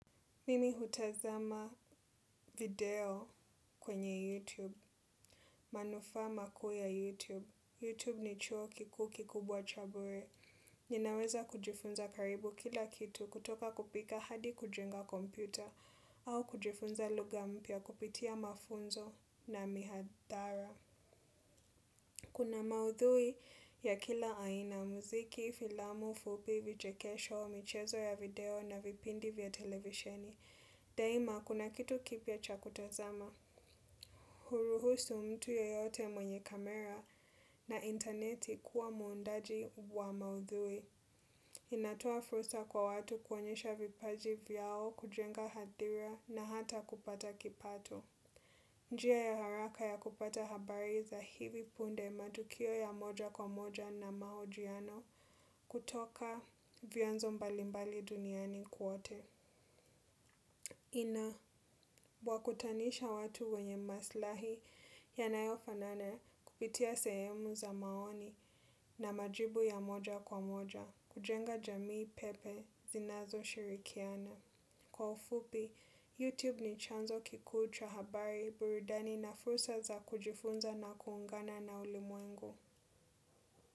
Mimi hutazama video kwenye YouTube. Manufaa makuu ya YouTube. YouTube ni chuo kikuu kikubwa cha bure. Ninaweza kujifunza karibu kila kitu kutoka kupika hadi kujenga kompyuta au kujifunza lugha mpya kupitia mafunzo na mihadhara. Kuna maudhui ya kila aina, muziki, filamu fupi, vichekesho, michezo ya video na vipindi vya televisheni. Daima kuna kitu kipya cha kutazama. Huruhusu mtu yeyote mwenye kamera na intaneti kuwa muundaji wa maudhui. Inatoa fursa kwa watu kuonyesha vipaji vyao kujenga hadhira na hata kupata kipato. Njia ya haraka ya kupata habari za hivi punde, matukio ya moja kwa moja na mahojiano kutoka vyanzo mbalimbali duniani kote. Ina wakutanisha watu wenye maslahi yanayofanana kupitia sehemu za maoni na majibu ya moja kwa moja kujenga jamii pepe zinazo shirikiana. Kwa ufupi, YouTube ni chanzo kikuu cha habari burudani na fursa za kujifunza na kuungana na ulimwengu.